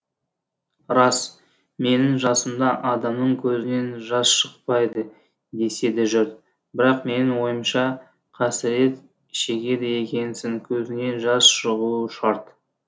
рас менің жасымда адамның көзінен жас шықпайды деседі жұрт бірақ менің ойымша қасірет шегеді екенсің көзіннен жас шығуы шарт